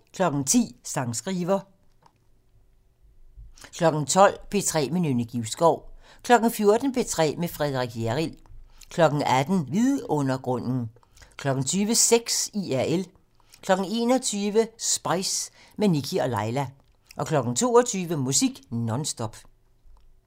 10:00: Sangskriver 12:00: P3 med Nynne Givskov 14:00: P3 med Frederik Hjerrild 18:00: Vidundergrunden 20:00: Sex IRL 21:00: Spice - med Nikkie og Laila 22:00: Musik non stop